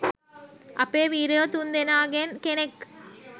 අපේ වීරයො තුන් දෙනාගෙන් කෙනෙක්